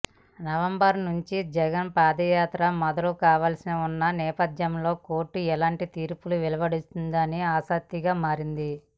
November నుంచి జగన్ పాదయాత్ర మొదలు కావలసి ఉన్న నేపథ్యంలో కోర్టు ఎలాంటి తీర్పు వెలువరుస్తుందనేదని ఆసక్తిగా మారింది